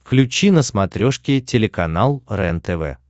включи на смотрешке телеканал рентв